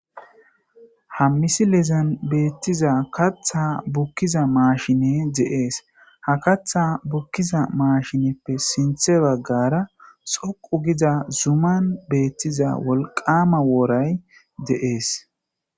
hammisi lezan beettiza katha bukkiza maashine de7ees ha katha bukkiza maashineppe sinthe baggara xoqu giza zuman beettiza wolqama wooray de7ees